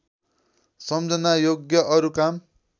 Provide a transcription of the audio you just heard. सम्झनायोग्य अरु काम